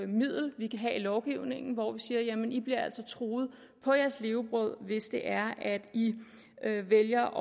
middel vi kan have i lovgivningen hvor vi siger jamen i bliver altså truet på jeres levebrød hvis det er at i vælger